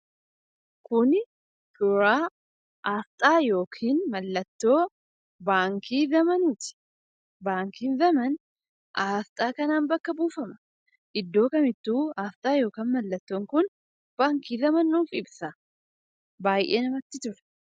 Kun suuraa 'Asxaa' yookaan mallatoo 'Baankii Zaman' nitti. Baankiin Zamaan Asxaa kanan bakka buufama. Iddoo kaam ituu Asxaa yookiin mallatoon kun Baankii Zamaan nuuf ibsa. Baay'ee namatti tola.